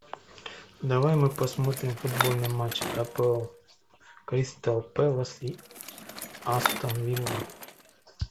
давай мы посмотрим футбольный матч апл кристал пэлас и астон вилла